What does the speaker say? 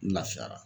N lafiyara